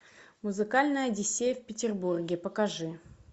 музыкальная одиссея в петербурге покажи